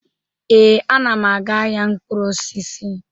Ee, ana m aga ahịa mkpụrụ osisi.